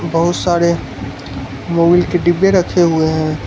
बहुत सारे मोबील के डब्बे रखे हुए हैं।